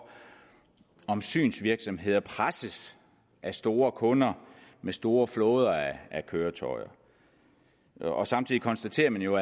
om synsvirksomheder presses af store kunder med store flåder af køretøjer samtidig konstaterer man jo